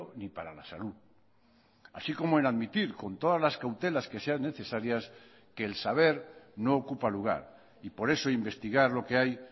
ni para la salud así como en admitir con todas las cautelas que sean necesarias que el saber no ocupa lugar y por eso investigar lo que hay